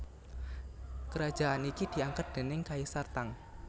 Kerajaan iki diangkat déning Kaisar Tang